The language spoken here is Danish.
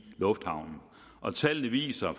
lufthavnen tallene viser